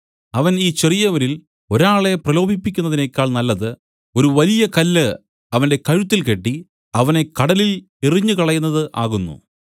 അവൻ ഈ ചെറിയവരിൽ ഒരാളെ പ്രലോഭിപ്പിക്കുന്നതിനേക്കാൾ നല്ലത് ഒരു വലിയ കല്ല് അവന്റെ കഴുത്തിൽ കെട്ടി അവനെ കടലിൽ എറിഞ്ഞുകളയുന്നത് ആകുന്നു